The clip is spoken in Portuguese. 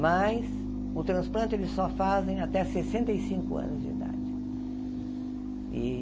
Mas o transplante eles só fazem até sessenta e cinco anos de idade e.